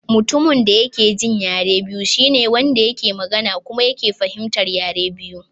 Mutumin da ya ke jin yare biyu shine Wanda yake magana kuma yake fahimtar yare biyu.